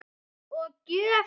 Og gjöf þína.